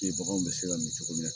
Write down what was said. baganw bɛ se ka min cogo min na